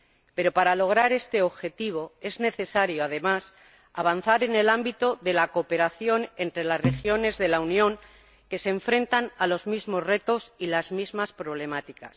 Pero para lograr este objetivo es necesario, además, avanzar en el ámbito de la cooperación entre las regiones de la Unión que se enfrentan a los mismos retos y las mismas problemáticas.